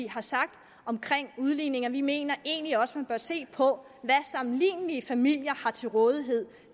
har sagt om udligning vi mener egentlig også at se på hvad sammenlignelige familier har til rådighed